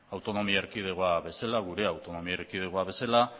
gure autonomia erkidego bezala